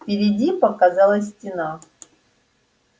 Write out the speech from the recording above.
впереди показалась стена